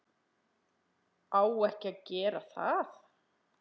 Á ekki að gera það.